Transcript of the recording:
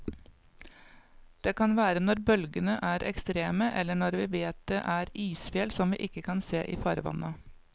Det kan være når bølgene er ekstreme, eller når vi vet det er isfjell som vi ikke kan se i farvannet.